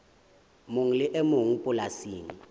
mong le e mong polasing